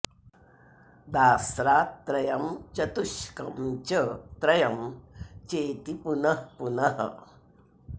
दास्रात् त्रयं चतुष्कं च त्रयं चेति पुनः पुनः